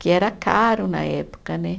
Que era caro na época, né?